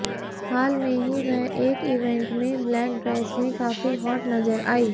हाल में ही वह एक इवेंट में ब्लैक ड्रेस में काफी हॉट नजर आईं